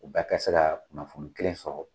U bɛɛ ka se ka kunnafoni kelen sɔrɔ.